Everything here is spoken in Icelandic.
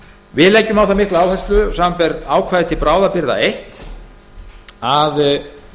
við leggjum á það mikla áherslu samanber ákvæði til bráðabirgða eins að